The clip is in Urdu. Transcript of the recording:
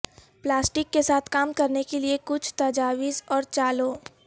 پلاسٹک کے ساتھ کام کرنے کے لئے کچھ تجاویز اور چالوں